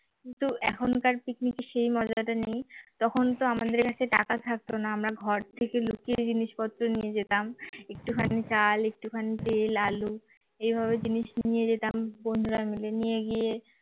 কিন্তু এখনকার picnic এ সেই মজাটা নেই তখন তো আমাদের কাছে টাকা থাকতো না আমরা ঘর থেকে লুকিয়ে জিনিসপত্র নিয়ে যেতাম একটুখানি চাল একটুখানি তেল আলু এইভাবে জিনিস নিয়ে যেতাম বন্ধুরা মিলে নিয়ে গিয়ে